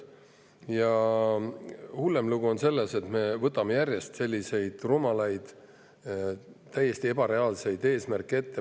Ja hullem lugu on see, et me võtame järjest rumalaid, täiesti ebareaalseid eesmärke.